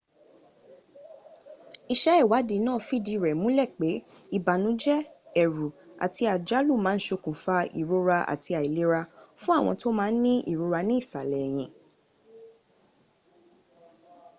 iṣẹ́ ìwádìí náà fìdí rẹ̀ múlẹ̀ pé ìbànújẹ́ ẹ̀rù àti àjálù má a ń ṣokùnfà ìrora àti àìlera fún àwọn tó má a ń ní ìrora ní ìsàlẹ̀ ẹ̀hìn